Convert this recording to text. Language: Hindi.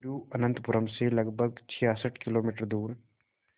तिरुवनंतपुरम से लगभग छियासठ किलोमीटर